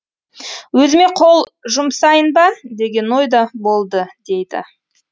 өзіме қол жұмсайын ба деген ой да болды дейді